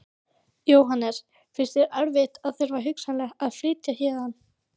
Jóhannes: Finnst þér erfitt að þurfa hugsanlega að flytjast héðan?